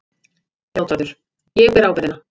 JÁTVARÐUR: Ég ber ábyrgðina.